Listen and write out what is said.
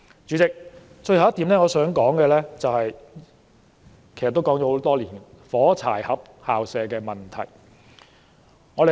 主席，最後一點我想說的，其實已經說了很多年，就是"火柴盒校舍"的問題。